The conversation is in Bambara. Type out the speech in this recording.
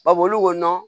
Ba boli ko nɔn